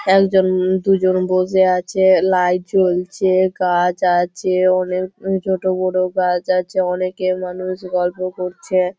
একজন দুজন বসে আছে লাইট জ্বলছে গাছ আছে অনেক ছোট বড় গাছ আছে অনেকে মানুষ গল্প করছে।